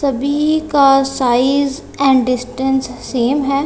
सभी का size and distance same है।